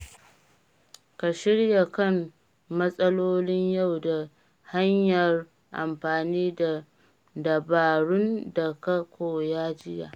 Ka shirya kan matsalolin yau ta hanyar amfani da dabarun da ka koya jiya.